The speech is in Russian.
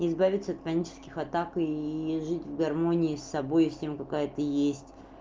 избавиться от панических атак и жить в гармонии с собой и всем какая ты есть